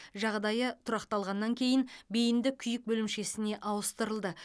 жағдайы тұрақталғаннан кейін бейінді күйік бөлімшесіне ауыстырылды